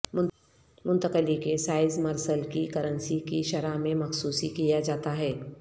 منتقلی کے سائز مرسل کی کرنسی کی شرح میں مخصوص کیا جاتا ہے